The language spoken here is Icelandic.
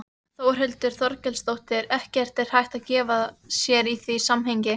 Þórhildur Þorkelsdóttir: Ekkert hægt að gefa sér í því samhengi?